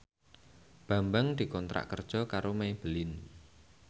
Bambang dikontrak kerja karo Maybelline